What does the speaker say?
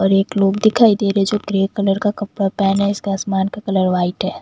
और एक लोग दिखाई दे रहे जो ग्रे कलर का कपड़ा पहना है इसका आसमान का कलर व्हाइट है।